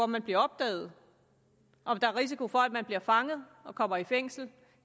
man bliver opdaget om der er risiko for at man bliver fanget og kommer i fængsel